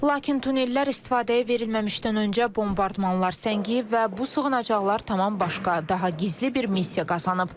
Lakin tunnellər istifadəyə verilməmişdən öncə bombardmanlar səngiyib və bu sığınacaqlar tamam başqa, daha gizli bir missiya qazanıb.